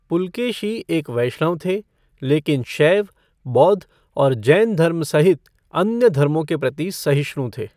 पुलकेशी एक वैष्णव थे, लेकिन शैव, बौद्ध और जैन धर्म सहित अन्य धर्मों के प्रति सहिष्णु थे।